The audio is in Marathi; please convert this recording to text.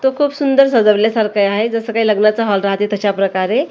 ते खूप सुंदर सजवले सारख्ं आहे जसं काही लग्नाचं हॉल राहतं तशाप्रकारे.